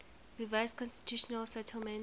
revised constitutional settlement